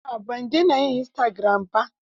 A'a, ban dena yin istagiram ba.